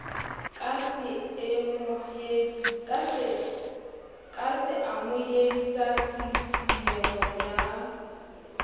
ka seamohedi sa tshisinyeho ya